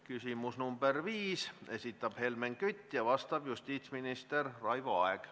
Küsimus nr 5, esitab Helmen Kütt ja vastab justiitsminister Raivo Aeg.